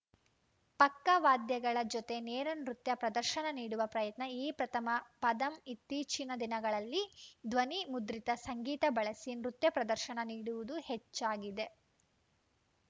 ಪಕ್ಕ ವಾದ್ಯಗಳ ಜೊತೆ ನೇರ ನೃತ್ಯ ಪ್ರದರ್ಶನ ನೀಡುವ ಪ್ರಯತ್ನ ಈ ಪ್ರಥಮ ಪಾದಂ ಇತ್ತೀಚಿನ ದಿನಗಳಲ್ಲಿ ದ್ವನಿ ಮುದ್ರಿತ ಸಂಗೀತ ಬಳಸಿ ನೃತ್ಯ ಪ್ರದರ್ಶನ ನೀಡುವುದು ಹೆಚ್ಚಾಗಿದೆ